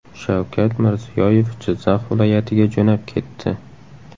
Shavkat Mirziyoyev Jizzax viloyatiga jo‘nab ketdi.